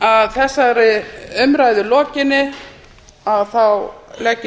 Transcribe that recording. að þessari umræðu lokinni legg ég